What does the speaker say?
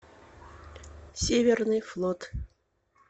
северный флот